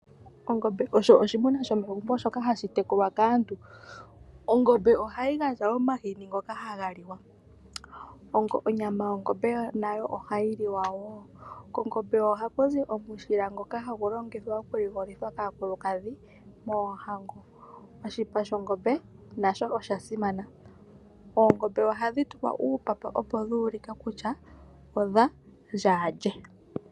Ongombe osho oshimuna shomegumbo shoka hashi tekulwa kaantu ongombe ohayi gandja omahini ngoka haga liwa ,onyama yongombe nayo ohayi liwa woo kongombe wo ohaku zi omushila ngoka hagu longithwa okuligolithwa kaakulukadhi poohango oshipa shongombe nasho oshasimana oshipa oongombe ohadhi tulwa uupapa opo dhu ulike kutya odhaa lye .